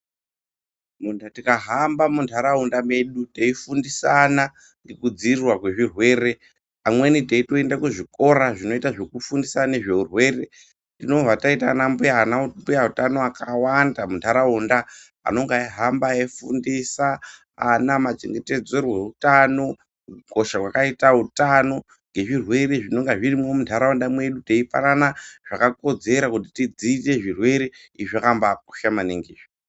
Tikahamba muntaraunda medi teifundisana ngekudzivirirwa kwezvirwere amweni teyitoenda kuzvikora zvinofundisa ngezveurwere tinobva taita ana mbuya utano akawanda muntaraunda anenge eyihamba eyifundisa ama machengetedzerwo eutano, kukosha kwakaita utano nezvirwere zvinenhe zvirimo muntaraunda mwedu. Teipanana zvakakodzera kuti tidzivirirwe zvirwere, izvi zvakambakosha maningi.